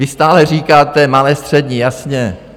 Vy stále říkáte: Malé, střední, jasně.